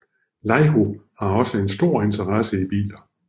Laiho har også en stor interesse i biler